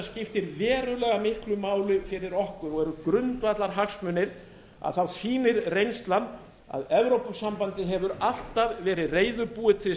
verulega miklu máli fyrir okkur og eru grundvallarhagsmunir þá sýnir reynslan að evrópusambandið hefur alltaf verið reiðubúið til